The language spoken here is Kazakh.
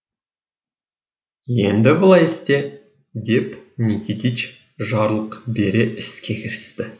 енді былай істе деп никитич жарлық бере іске кірісті